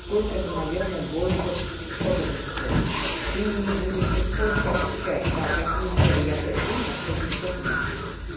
сколько это наверное больше с опытом приходит ты будешь потихонечку ощущать так какие меры я предпринял чтобы сейчас выйти